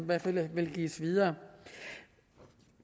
hvert fald vil give videre